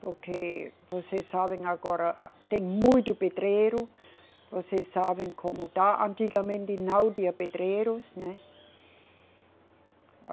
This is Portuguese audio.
Porque vocês sabem agora, tem muito pedreiro, vocês sabem como tá, antigamente não tinha pedreiros, né?